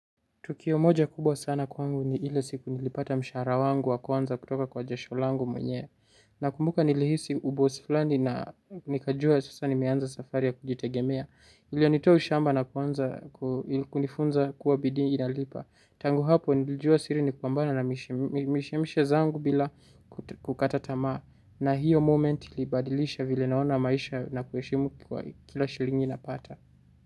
Tukio moja kubwa sana kwangu ni ile siku nilipata mshahara wangu wa kwanza kutoka kwa jasho langu mwenyewe. Nakumbuka nilihisi ubosi fulani na nikajua sasa nimeanza safari ya kujitegemea. Ilio nitoa ushamba na kunifunza kuwa bidii inalipa. Tangu hapo nilijua siri ni kupambana na mishemishe zangu bila kukata tamaa. Na hiyo moment ilibadilisha vile naona maisha na kuheshimu kila shilingi napata.